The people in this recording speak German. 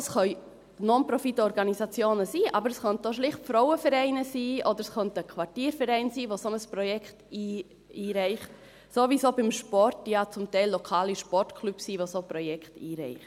Das können Non-Profit-Organisationen sein, aber es könnten auch schlicht Frauenvereine oder Quartiervereine sein, die ein solches Projekt einreichen – sowieso beim Sport, wo es ja zum Teil lokale Sportclubs sind, die solche Projekte einreichen.